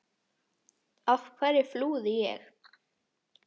Af hverju flúði ég?